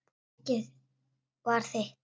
Og eggið var þitt!